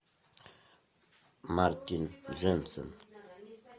мартин дженсен